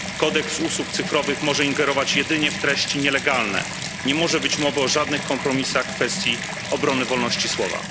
Kodeks usług cyfrowych może ingerować jedynie w treści nielegalne, nie może być mowy o żadnych kompromisach w kwestii obrony wolności słowa.